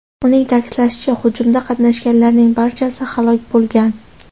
Uning ta’kidlashicha, hujumda qatnashganlarning barchasi halok bo‘lgan.